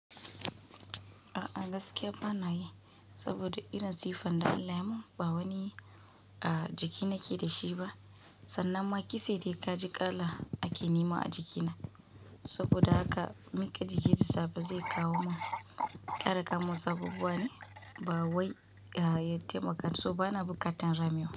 A'a gaskiya ba na yi, saboda irin sifan da Allah yayi mun ba wani a jiki nake da shi ba sannan ma kitse dai ka ji kala ake nema a jikina. Saboda da haka mika jiki da safe zai kawo mun, kara kawo mun wasu abubuwa ne ba wai taimaka so bana buƙatan ramewa.